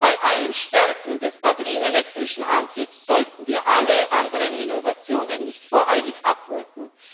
Bei allen Stärken des batterie elektrischen Antriebs sollten wir alle anderen Innovationen nicht voreilig abwürgen.